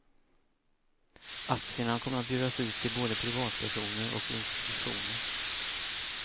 Aktierna kommer att bjudas ut till både privatpersoner och institutioner.